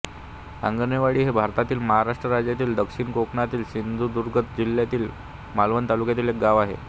आंगणेवाडी हे भारतातील महाराष्ट्र राज्यातील दक्षिण कोकणातील सिंधुदुर्ग जिल्ह्यातील मालवण तालुक्यातील एक गाव आहे